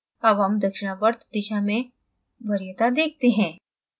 अब हम दक्षिणावर्त दिशा में वरीयता देखते हैं